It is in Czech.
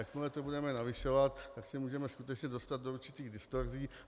Jakmile to budeme navyšovat, tak se můžeme skutečně dostat do určitých distorzí.